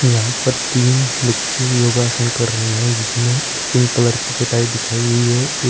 यहां पर तीन बच्चे योगासन कर रही हैं जिसने एक पिंक कलर की चटाई बिछाई हुई है एक--